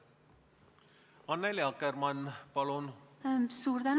Annely Akkermann, palun!